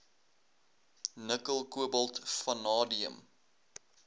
nikkel kobalt vanadium